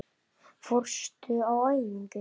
Fórstu á æfingu?